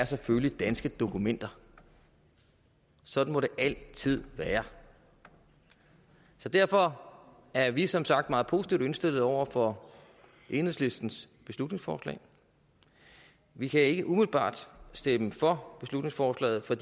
selvfølgelig er danske dokumenter sådan må det altid være så derfor er vi som sagt meget positivt indstillet over for enhedslistens beslutningsforslag vi kan ikke umiddelbart stemme for beslutningsforslaget for